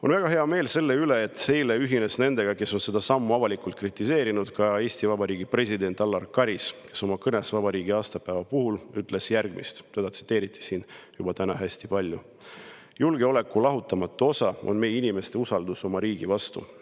On väga hea meel selle üle, et eile ühines nendega, kes on seda avalikult kritiseerinud, ka Eesti Vabariigi president Alar Karis, kes oma kõnes vabariigi aastapäeva puhul ütles järgmist, teda on siin juba täna hästi palju tsiteeritud: "Julgeoleku lahutamatu osa on meie inimeste usaldus oma riigi vastu.